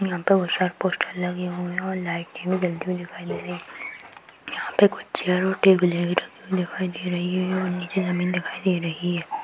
यहाँ पे बहोत सारे पोस्टर लगे हुए हैं और लाइटें भी जलती हुई दिखाई दे रही हैं। यहाँ पे कुछ चेयर और टेबलें भी रखी हुई दिखाई दे रही हैं और नीचे जमीन दिखाई दे रही है।